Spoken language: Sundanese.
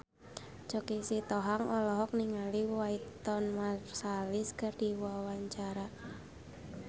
Choky Sitohang olohok ningali Wynton Marsalis keur diwawancara